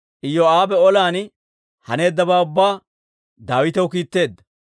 Iyoo'aabe olan haneeddabaa ubbaa Daawitaw kiitteedda.